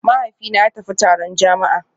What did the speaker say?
Mahaifina ya tafi taron jama'a